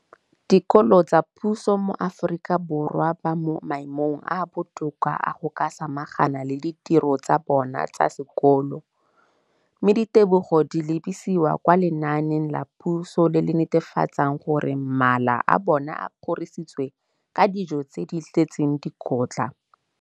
Dikolo tsa puso mo Aforika Borwa ba mo maemong a a botoka a go ka samagana le ditiro tsa bona tsa sekolo, mme ditebogo di lebisiwa kwa lenaaneng la puso le le netefatsang gore mala a bona a kgorisitswe ka dijo tse di tletseng dikotla.